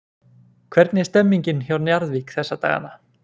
Hvernig er stemningin hjá Njarðvík þessa dagana?